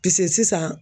Pise sisan